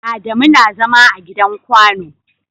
Adamu na zama a gidan kwano.